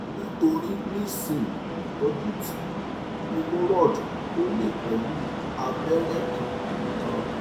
nitori nisin itọ́ju ti hemorroid ẹ o le pẹ̀lu abẹ́rẹ́ kan nikan